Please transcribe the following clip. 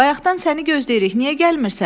Bayaqdan səni gözləyirik, niyə gəlmirsən?